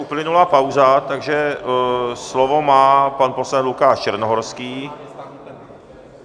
Uplynula pauza, takže slovo má pan poslanec Lukáš Černohorský.